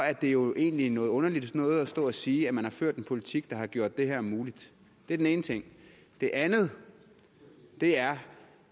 er det jo egentlig noget underligt noget at stå og sige at man har ført en politik der har gjort det her muligt det er den ene ting det andet er